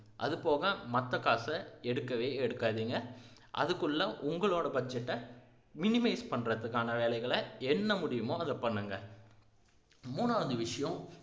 அது போக மத்த காசை எடுக்கவே எடுக்காதீங்க அதுக்குள்ள உங்களோட budget ஐ minimize பண்றதுக்கான வேலைகளை என்ன முடியுமோ அதை பண்ணுங்க மூணாவது விஷயம்